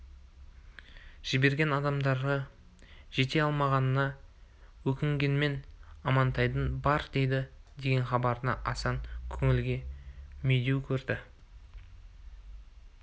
жіберген адамдары жете алмағанына өкінгенмен амантайдың бар дейді деген хабарын асан көңілге медеу көрді